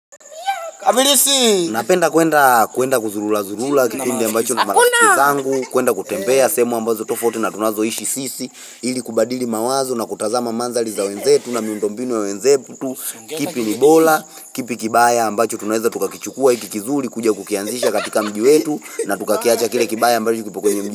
Napenda kuenda kuenda kuzurula zurula Kipindi ambacho kunamarafikizangu kuenda kutembea sehemu ambazo tofauti na tunazo ishi sisi Ili kubadili mawazo na kutazama mandhali za wenzetu na miundombinu ya wenzeputu kipi nibola, kipi kibaya ambacho tunaeza tukakichukua ikikizuri kuja kukianzisha katika mji wetu na tukakiacha kile kibaya ambacho kipo kwenye mji.